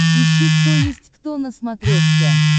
ищи кто есть кто на смотрешке